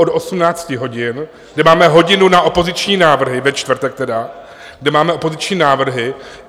... od 18 hodin, kde máme hodinu na opoziční návrhy, ve čtvrtek tedy, kde máme opoziční návrhy.